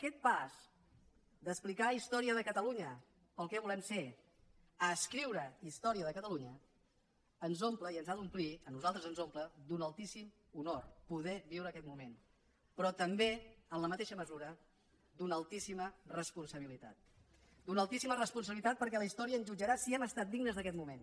aquest pas d’explicar història de catalunya pel que volem ser a escriure història de catalunya ens omple i ens ha d’omplir a nosaltres ens omple d’un altíssim honor poder viure aquest moment però també en la mateixa mesura d’una altíssima responsabilitat d’una altíssima responsabilitat perquè la història ens jutjarà si hem estat dignes d’aquest moment